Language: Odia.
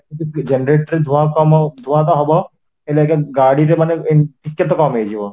electric generate ରେ ଧୂଆଁ କମ ଧୂଆଁ ହବ ହେଲେ ଆଂଜ୍ଞା ଗାଡ଼ିରେ ମାନେ ଏମିତି ଟିକେ କମ ହେଇଯିବ